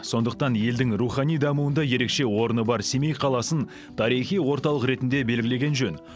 сондықтан елдің рухани дамуында ерекше орны бар семей қаласын тарихи орталық ретінде белгілеген жөн